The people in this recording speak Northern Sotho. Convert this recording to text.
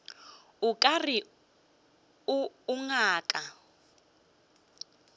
o ka re o ngaka